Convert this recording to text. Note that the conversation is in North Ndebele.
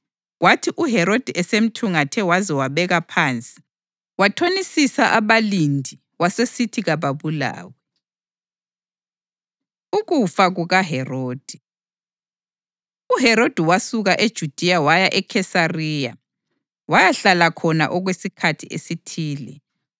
Kwathi uHerodi esemthungathe waze wabeka phansi, wathonisisa abalindi wasesithi kababulawe. Ukufa KukaHerodi UHerodi wasuka eJudiya waya eKhesariya wayahlala khona okwesikhathi esithile.